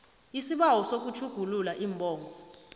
isibawo sokutjhugulula iimbongo